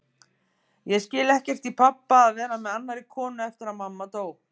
Ég skil ekkert í pabba að vera með annarri konu eftir að mamma dó.